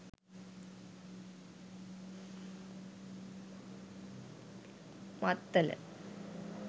maththala